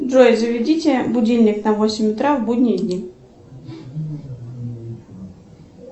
джой заведите будильник на восемь утра в будние дни